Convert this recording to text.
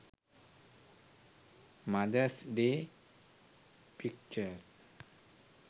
mothers day pictures